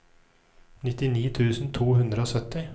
nittini tusen to hundre og sytti